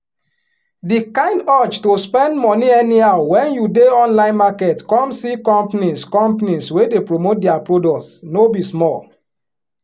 di kind urge to spend money anyhow wen you dey online market come see companies companies wey dey promote dia products no be small